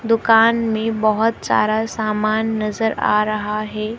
दुकान में बहोत सारा सामान नजर आ रहा है।